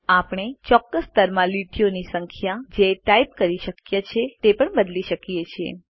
આપણે ચોક્કસ સ્તરમાં લીટીઓની સંખ્યા જે ટાઇપ કરી શક્ય છે તે પણ બદલી શકીએ છીએ